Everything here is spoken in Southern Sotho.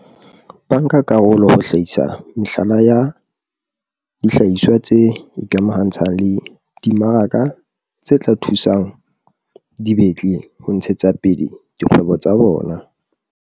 bankakarolo ho hlahisa mehlala ya dihlahiswa tse ikamahantshang le dimaraka tse tla thusang dibetli ho ntshetsapele dikgwebo tsa bona.